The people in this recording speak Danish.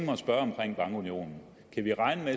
bankunionen kan vi